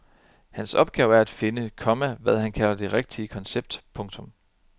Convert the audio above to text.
Hans opgave er at finde, komma hvad han kalder det rigtige koncept. punktum